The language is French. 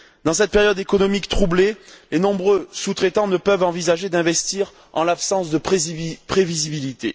Dans cette période économique troublée, les nombreux sous traitants ne peuvent envisager d'investir en l'absence de prévisibilité.